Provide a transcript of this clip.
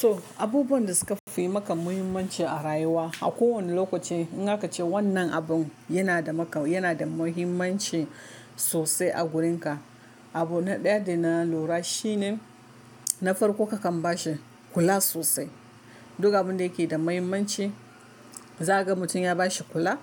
To abubuwan da suka fi maka muhimmanci a rayuwa a kowane lokaci in aka ce wannan abun yana da maka, yana da muhimmanci sosai a gurin ka. Abu ɗaya da na lura shine na farko ka kan ba shi kula sosai. Duk abun da yake da muhimmanci, za ka ga mutum ya ba shi kula,